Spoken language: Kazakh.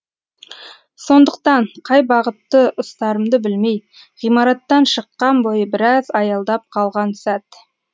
сондықтан қай бағытты ұстарымды білмей ғимараттан шыққан бойы біраз аялдап қалған сәт